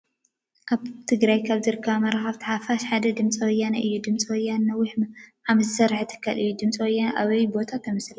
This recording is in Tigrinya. አብ ትግራይ ካብ ዝርከባ መራክብቲ ሓፋሻት ሓደ ድምፂ ወያነ አዩ ። ድምፂ ወያነ ነዊሕ ዓመት ዝስርሐ ትካል እዩ ። ድምፂ ወያነ አብይ ቦታ ተመስሪታ?